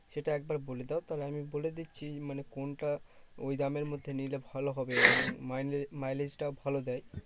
সেটা একবার বলে দাও, তাহলে আমি বলে দিচ্ছি মানে কোনটা ওই দামের মধ্যে নিলে ভালো হবে। mileage mileage টাও ভালো দেয়।